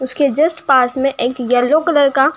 उसके जस्ट पास मे एक येलो कलर का --